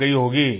थक गयी होंगी